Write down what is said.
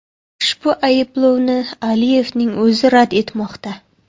Ushbu ayblovni Aliyevning o‘zi rad etmoqda.